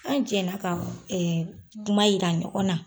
An jɛla ka kuma yira ɲɔgɔn na.